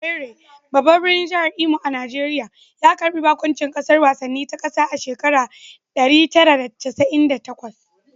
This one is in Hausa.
Owerri, babban birnin jihar Imo a Najeriya, ya karbi baƙuncin gasar wasanni ta ƙasa a shekarar 1998